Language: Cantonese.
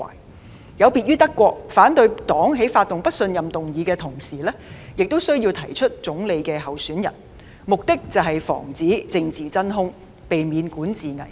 德國的情況略有不同，反對黨在發起不信任議案的同時，亦需要提出總理的候選人，目的是防止政治真空，避免管治危機。